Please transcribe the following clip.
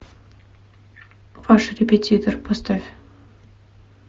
ваш репетитор поставь